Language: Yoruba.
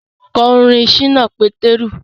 Kọ orin Ṣínà Pétérù